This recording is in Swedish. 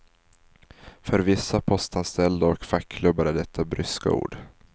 För vissa postanställda och fackklubbar är detta bryska ord.